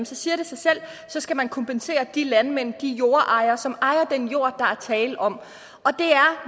siger det sig selv at så skal man kompensere de landmænd de jordejere som ejer den jord der er tale om og det er